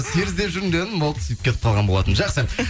сиыр іздеп жүрмін деп едім болды сөйтіп кетіп қалған болатынмын жақсы